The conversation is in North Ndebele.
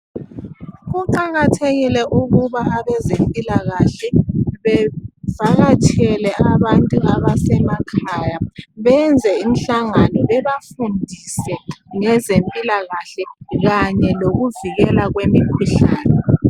kuqakathekile ukuba abazempilakahle bevakatshele abantu abasemakhaya benze imhlangano bebafundise ngezempilakahle kanye lokuvikela kwemikhuhlane